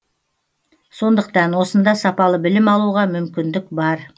сондықтан осында сапалы білім алуға мүмкіндік бар